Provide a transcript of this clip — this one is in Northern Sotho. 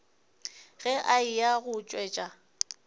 ge a eya go tšwetša